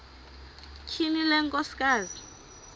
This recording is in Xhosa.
tyhini le nkosikazi